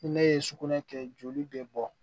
Ni ne ye sugunɛ kɛ joli be bɔ